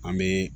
An bɛ